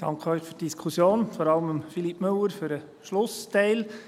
Ich danke Ihnen für die Diskussion, und vor allem Philippe Müller für den Schlussteil.